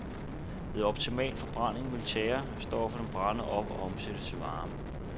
Ved optimal forbrænding ville tjærestofferne brænde op og omsættes til varme.